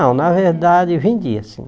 Não, na verdade, vendia sim.